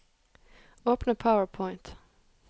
Åpne PowerPoint